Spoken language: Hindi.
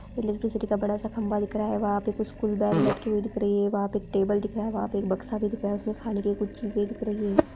इलेक्ट्रिसिटी का बड़ा सा खंबा दिख रहा है वहाँ पे कुछ कुछ बैग लटका हुआ दिख रहे है वहाँ पे एक टेबल दिख रहा है वहाँ पे एक बक्सा भी दिख रहा है उसमें खाने की कुछ चीज़े दिख रही हैं।